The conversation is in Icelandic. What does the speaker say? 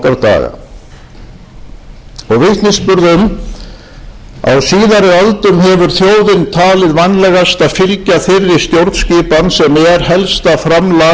þeirri stjórnskipun sem er helsta framlag evrópu til lýðræðis í heimsbyggðinni því er í senn